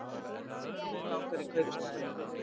Mig langar í kaupstaðinn.